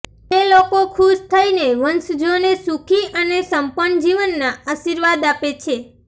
તે લોકો ખુશ થઈને વંશજોને સુખી અને સંપન્ન જીવન ના આશીર્વાદ આપે છે